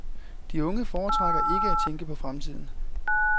De unge foretrækker ikke at tænke på fremtiden.